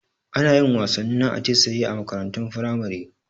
Anayin wasannin atisaye a makarantun firamare